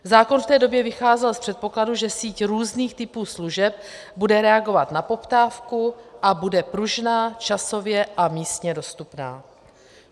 Zákon v té době vycházel z předpokladu, že síť různých typů služeb bude reagovat na poptávku a bude pružná časově a místně dostupná.